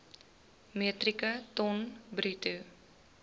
metrieke ton bruto